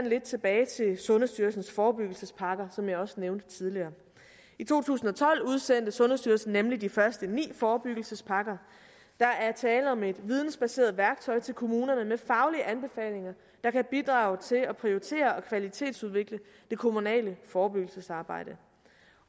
lidt tilbage til sundhedsstyrelsens forebyggelsespakker som jeg også nævnte tidligere i to tusind og tolv udsendte sundhedsstyrelsen nemlig de første ni forebyggelsespakker der er tale om et vidensbaseret værktøj til kommunerne med faglige anbefalinger der kan bidrage til at prioritere og kvalitetsudvikle det kommunale forebyggelsesarbejde